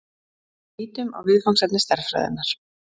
Lítum á viðfangsefni stærðfræðinnar.